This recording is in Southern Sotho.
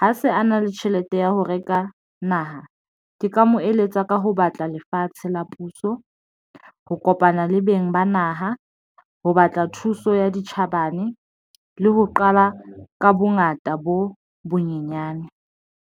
ha se a na le tjhelete ya ho reka naha. Ke ka mo eletsa ka ho batla lefatshe la puso, ho kopana le beng ba naha ho batla thuso ya ditjhabane le ho qala ka bongata bo bonyenyane.